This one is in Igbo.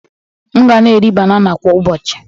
M ga na-eri banana kwa ụbọchị.